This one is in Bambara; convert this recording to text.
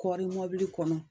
Kɔri mobili kɔnɔ